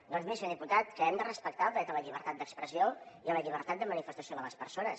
doncs miri senyor diputat que hem de respectar el dret a la llibertat d’expressió i a la llibertat de manifestació de les persones